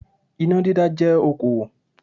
Iná dídá jẹ́ okòwò